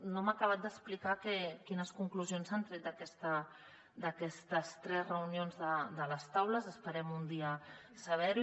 no m’ha acabat d’explicar quines conclusions s’han tret d’aquestes tres reunions de les taules esperem un dia saber·ho